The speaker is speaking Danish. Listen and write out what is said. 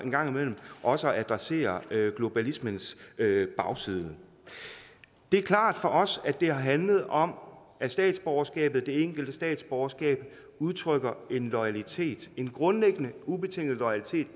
gang imellem også at adressere globaliseringens bagside det er klart for os at det har handlet om at statsborgerskabet det enkelte statsborgerskab udtrykker en loyalitet en grundlæggende ubetinget loyalitet